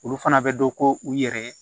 Olu fana bɛ dɔn ko u yɛrɛ ye